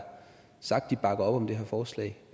sagt at de bakker op om det her forslag